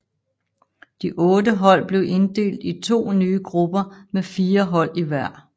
De otte hold blev inddelt i to nye grupper med fire hold i hver